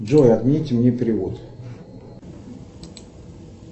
джой отмените мне перевод